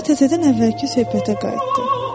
Sonra təzədən əvvəlki söhbətə qayıtdı.